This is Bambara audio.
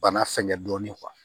Bana fɛngɛ dɔɔni